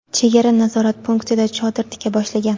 chegara nazorat punktida chodir tika boshlagan.